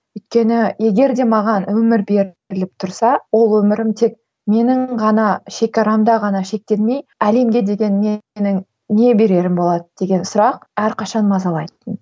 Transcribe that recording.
өйткені егер де маған өмір беріліп тұрса ол өмірім тек менің ғана шегарамда ғана шектелмей әлемге деген менің не берерім болады деген сұрақ әрқашан мазалайтын